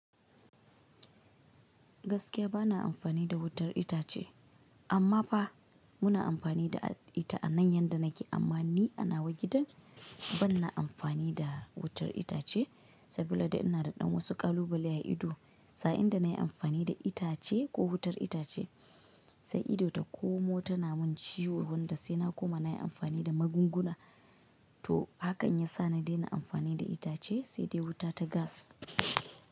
Gaskiya bana amfani da wutar itace amma fa muna amfani da ita a nan yadda nake amma ni ana wa gidan ban na amfani da wutar itace saboda ina da ɗan wasu ƙalubale a ido sa'in da na yi amfani da itace ko wutar itace sai ido ta komo tana mun ciwo wanda sai na koma na yi amfani da magunguna to hakan ya sa na daina amfani da itace sai dai wuta ta gas.